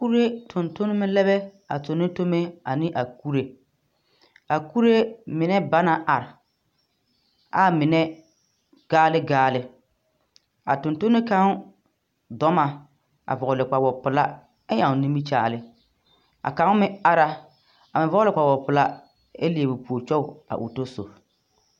Kure tontoneme lɛ bɛ a tone tome ane a kure. A kure menɛ ba na are, ɛ a menɛ gaale gaale. A tontone gaŋ dɔ na a vɛgle kpawopelaa ɛ ɛŋ nimikyaale. A kaŋ meŋ ara, ɛ vɔgle kpawopelaa ɛ meŋ leɛ o puor kyog ɛ o tɔsob.